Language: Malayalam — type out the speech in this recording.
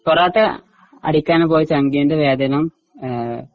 പൊറോട്ട അടിക്കാൻ പോയ ചങ്കിന്റെ വേതനം ആ